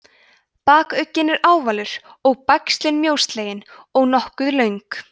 bakugginn er ávalur og bægslin mjóslegin og nokkuð löng